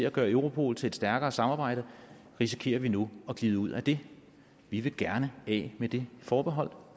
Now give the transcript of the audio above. at gøre europol til et stærkere samarbejde risikerer vi nu at glide ud af det vi vil gerne af med det forbehold